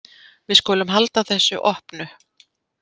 Við skulum halda þessu opnu.